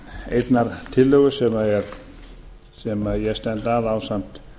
einnar tillögu sem ég stend að ásamt